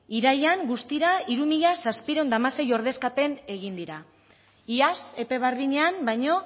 irailean guztira hiru mila zazpiehun eta hamasei ordezkapen egin dira iaz epe berdinean baino